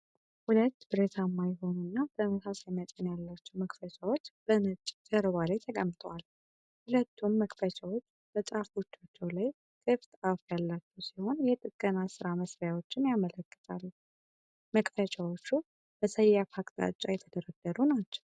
ሁለት ብረታማ የሆኑ እና ተመሳሳይ መጠን ያላቸው መክፈቻዎች (spanners) በነጭ ጀርባ ላይ ተቀምጠዋል። ሁለቱም መክፈቻዎች በጫፎቻቸው ላይ ክፍት-አፍ ያላቸው ሲሆን የጥገና ሥራ መሳሪያዎችን ያመለክታሉ። መክፈቻዎቹ በሰያፍ አቅጣጫ የተደረደሩ ናቸው።